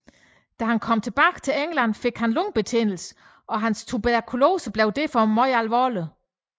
Da han kom tilbage til England fik han lungebetændelse og hans tuberkulose blev derfor meget alvorlig